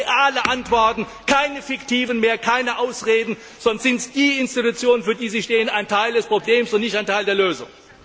Wir brauchen reale Antworten, keine fiktiven mehr, keine Ausreden, sonst sind die Institutionen, für die Sie stehen, ein Teil des Problems und nicht ein Teil der Lösung.